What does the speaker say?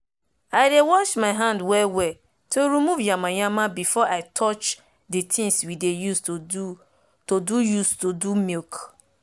i dey wash my hand well well to remove yamayama before i touch de tins we dey use to do use to do milk